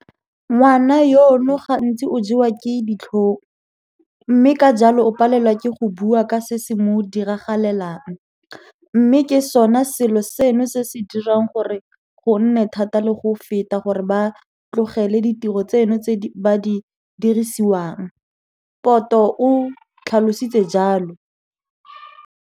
Ngwana yono gantsi o jewa ke ditlhong, mme ka jalo o palelwa ke go bua ka se se mo diragalelang, mme ke sona selo seno se se dirang gore go nne thata le go feta gore ba tlogele ditiro tseno tse ba di dirisiwang, Poto o tlhalositse jalo.